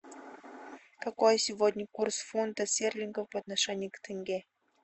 какой сегодня курс фунта стерлингов по отношению к тенге